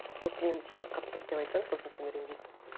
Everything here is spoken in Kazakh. вот мен сені қатқыш деп айтсам сосын сен ренжисің